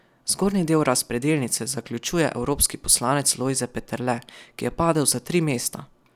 Zgornji del razpredelnice zaključuje evropski poslanec Lojze Peterle, ki je padel za tri mesta.